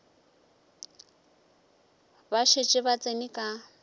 ba šetše ba tsene ka